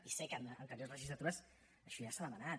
i sé que en anteriors legislatures això ja s’ha demanat